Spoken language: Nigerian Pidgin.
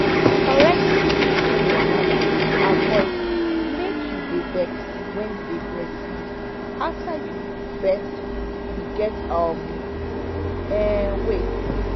correcting nipple pain wahala go avoid make you dey vex when you dey breastfeed after you give birth you get um um wait